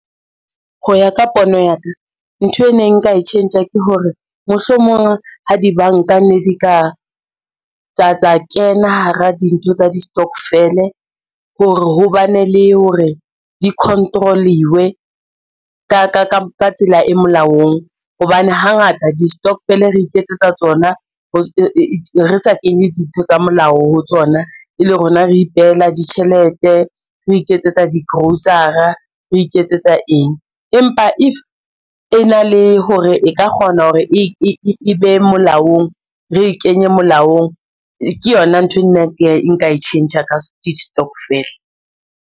Ho ya ka pono ya ka, ntho e neng nka e tjhentjha ke hore mohlomong ha dibanka ne di ka tsa kena hara dintho tsa di-stokvel-e, hore ho bane le hore di-control-iwe ka tsela e molaong, hobane hangata di-stokvel re iketsetsa tsona re sa kenye ditho tsa molao ho tsona, e le rona re ipehela ditjhelete, re iketsetsa di-grocer-a re iketsetsa eng. Empa if e na le hore e ka kgona hore e be molaong, re e kenye molaong, ke yona nthwe nna nka e tjhentjha ka stokvel-e.